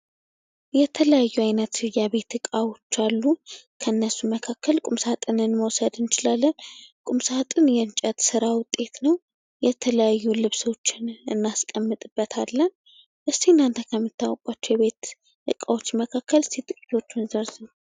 የተለያዩ አይነት የቤት እቃዎች አሉ። ከእነሱ መካከል ቁም ሳጥን መዉሰድ እንችላለይ። ቁም ሳጥን የእንጨት ስራ ዉጤት ነዉ። የተለያዩ ልብሶችን ለማስቀመጥ እንጠቀምበታለን። እስኪ እናተ ከምታዉቁት የቤት እቃዎች ዉስጥ የተወሰነ ዘርዝሩ?